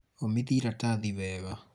ũmithia iratathi wega